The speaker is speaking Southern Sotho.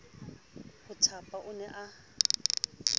ho thapa o ne a